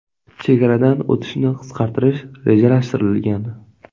Chegaradan o‘tishni qisqartirish rejalashtirilgan.